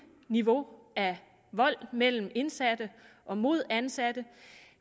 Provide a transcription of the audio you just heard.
niveau af vold mellem indsatte og mod ansatte